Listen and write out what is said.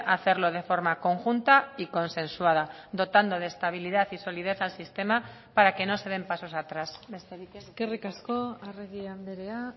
hacerlo de forma conjunta y consensuada dotando de estabilidad y solidez al sistema para que no se den pasos atrás besterik ez eskerrik asko arregi andrea